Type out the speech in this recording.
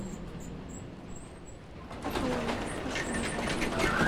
троя поставь